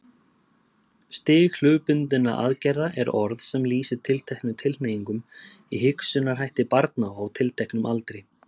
Stig hlutbundinna aðgerða er orð sem lýsir tilteknum tilhneigingum í hugsunarhætti barna á tilteknum aldri.